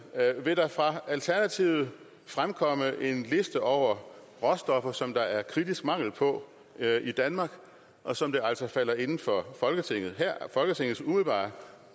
vil der fra alternativet fremkomme en liste over råstoffer som der er kritisk mangel på i danmark og som det altså falder inden for folketingets umiddelbare